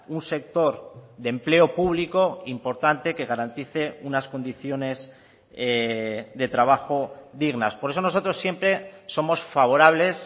un sector de empleo público importante que garantice unas condiciones de trabajo dignas por eso nosotros siempre somos favorables